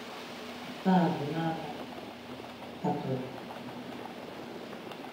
Nke a bụ n’agbanyeghị na ọ bụ Katọlik n’aha.